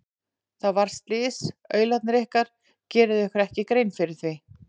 Það varð slys, aularnir ykkar, gerið þið ykkur ekki grein fyrir því?